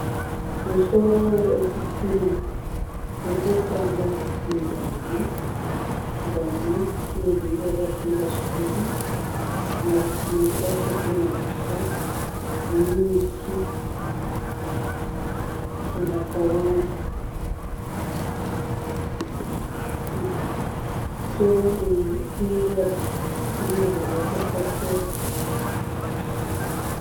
Musoro wechitima uri kufamba munjanji, njanji simbi yakasimba zvikuru kumarutivi kwacho kune huswa nemiti yakawanda musoro uyu uri kuratidza kuti une zvawakatakura.